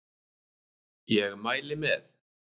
Ég mæli með